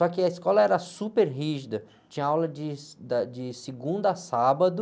Só que a escola era super rígida, tinha aula de, da, de segunda a sábado,